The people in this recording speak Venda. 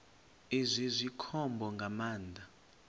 izwi zwi khombo nga maanḓa